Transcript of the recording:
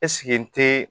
Ɛseke n ti